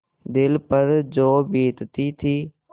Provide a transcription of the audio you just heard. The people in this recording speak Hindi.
दिल पर जो बीतती थी